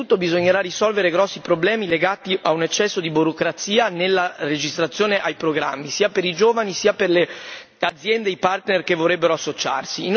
Innanzitutto bisognerà risolvere grossi problemi legati a un eccesso di burocrazia nella registrazione ai programmi sia per i giovani sia per le aziende, i partner che vorrebbero associarsi.